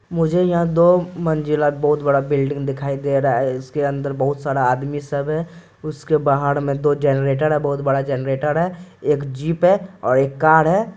मुझे यहाँ दो मंजिला बहुत बड़ा बिल्डिंग दिखाई दे रहा है इसके अंदर बहुत सारा आदमी सब है उसके बाहर में दो जनरेटर है बहुत बड़ा जनरेटर है एक जीप है एक कार है।